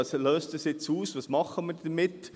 «Was löst dies jetzt aus, was machen wir damit?